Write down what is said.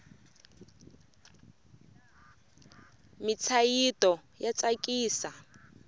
mintshayito ya tsakisa